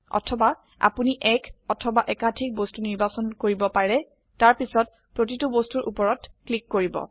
অথবা আপোনি এক অথবা একাধিক বস্তু নিৰ্বাচন কৰিব পাৰে তাৰপিছত প্ৰতিটো বস্তুৰ উপৰত ক্লিক কৰিব